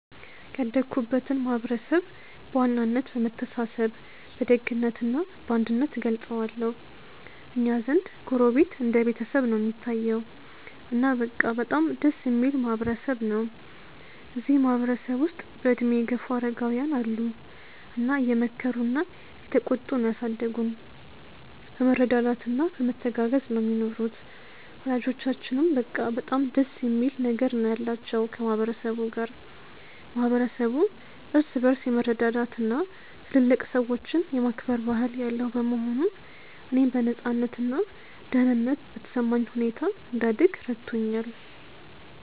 ያደግኩበትን ማህበረሰብ በዋናነት በመተሳሰብ በደግነት እና በአንድነት እገልጸዋለሁ። እኛ ዘንድ ጎረቤት እንደ ቤተሰብ ነው እሚታየዉ። እና በቃ በጣም ደስ እሚል ማህበረ ሰብ ነው። እዚህ ማህበረ ሰብ ውስጥ በእድሜ የገፉ አረጋውያን አሉ እና እየመከሩና እየተቆጡ ነው ያሳደጉን። በመረዳዳት እና በመተጋገዝ ነው ሚኖሩት። ወላጆቻችንም በቃ በጣም ደስ የሚል ነገር ነው ያላቸው ከ ማህበረ ሰቡ ጋር። ማህበረሰቡ እርስ በርስ የመረዳዳት እና ትልልቅ ሰዎችን የማክበር ባህል ያለው በመሆኑ፣ እኔም በነፃነት እና ደህንነት በተሰማኝ ሁኔታ እንድደግ ረድቶኛል።